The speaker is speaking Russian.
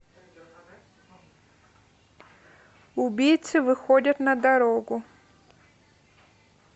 убийцы выходят на дорогу